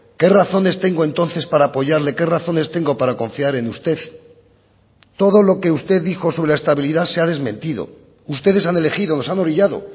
qué razones tengo entonces para apoyarle qué razones tengo para confiar en usted todo lo que usted dijo sobre la estabilidad se ha desmentido ustedes han elegido nos han orillado